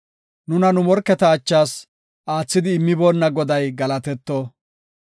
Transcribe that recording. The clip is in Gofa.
Nuna nu morketa achas aathidi immiboona Goday galatetto.